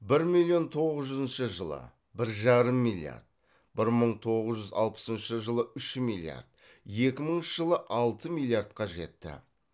бір миллион тоғыз жүзінші жылы бір жарым миллиард бір мың тоғыз жүз алпысыншы жылы үш миллиард екі мыңыншы жылы алты миллиардқа жетті